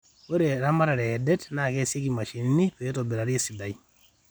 ore eramatare eedet naa keasieki imashinini peeitobirari esidai